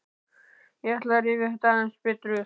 Ég ætla að rifja þetta aðeins betur upp.